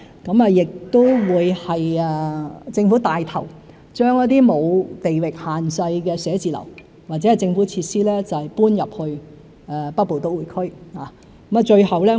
政府亦會牽頭，將一些沒有地域限制的寫字樓或政府設施搬進北部都會區。